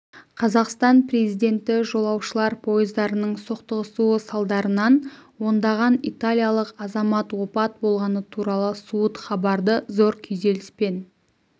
қазақстан президенті жолаушылар пойыздарының соқтығысуы салдарынан ондаған италиялық азамат опат болғаны туралы суыт хабарды зор күйзеліспен